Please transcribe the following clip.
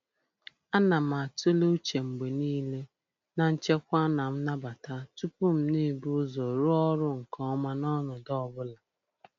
A na m atụle uche mgbe niile na nchekwa ma nnabata tupu m ebu ụzọ rụọ ọrụ nke ọma n'ọnọdụ ọ bụla.